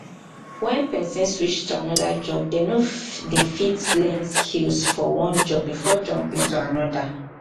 when person switch to anoda job dem no de fit learn skills for one job before jumping to another